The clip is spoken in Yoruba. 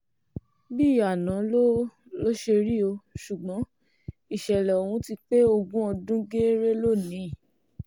bíi àná ló ló ṣe rí o ṣùgbọ́n ìṣẹ̀lẹ̀ ọ̀hún ti pé ogún ọdún gééré lónìí